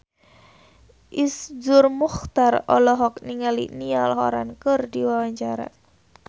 Iszur Muchtar olohok ningali Niall Horran keur diwawancara